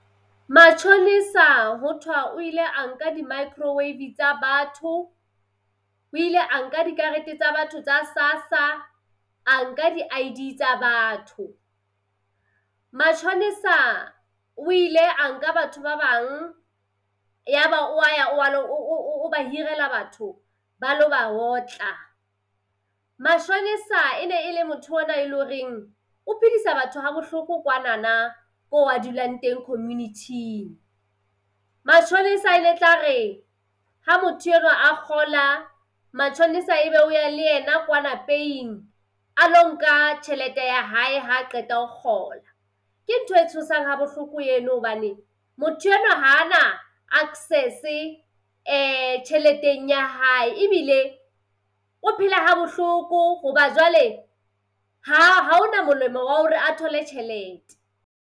Mashonisa ho thwa o ile a nka di-microwave tsa batho, o ile a nka dikarete tsa batho tsa SASSA, a nka di-I_D tsa batho. Mashonisa o ile a nka batho ba bang, ya ba o wa ya o wa lo o o ba hirela batho ba lo ba otla. Mashonisa e ne e le motho ona e le horeng o phedisa batho ha bohloko kwanana ko a dulang teng community-ng. Mashonisa e ne tla re ha motho enwa a kgola mashonisa ebe o ya le ena pay-ing a lo nka tjhelete ya hae ha qeta ho kgola. Ke ntho e tshosang ha bohloko eno hobane motho enwa ha a na access-e tjheleteng ya hae ebile o phela ha bohloko hoba jwale ha ha hona molemo wa hore a thole tjhelete.